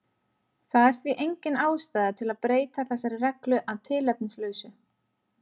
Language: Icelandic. Það er því engin ástæða til að breyta þessari reglu að tilefnislausu.